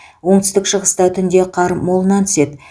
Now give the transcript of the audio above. оңтүстік шығыста түнде қар молынан түседі